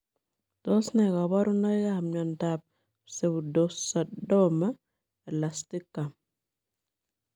Tos nee kabarunoik ap miondoop pseudoxanthoma elastikam?